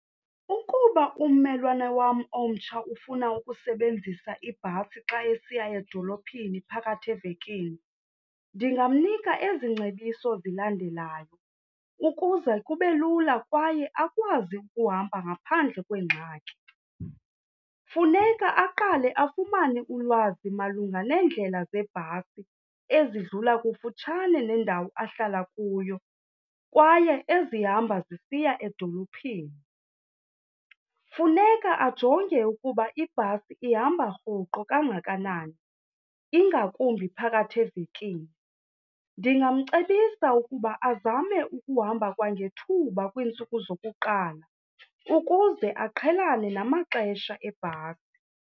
Ukuba ummelwane wam omtsha ufuna ukusebenzisa ibhasi xa esiya edolophini phakathi evekini ndingamnika ezi ngcebiso zilandelayo ukuze kube lula kwaye akwazi ukuhamba ngaphandle kweengxaki. Funeka aqale afumane ulwazi malunga neendlela zebhasi ezidlula kufutshane nendawo ahlala kuyo kwaye ezihamba zisiya edolophini. Funeka ajonge ukuba ibhasi ihamba rhoqo kangakanani, ingakumbi phakathi evekini. Ndingamcebisa ukuba azame ukuhamba kwangethuba kwiintsuku zokuqala ukuze aqhelane namaxesha ebhasi.